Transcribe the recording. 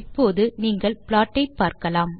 இப்போது நீங்கள் ப்ளாட் ஐ பார்க்கலாம்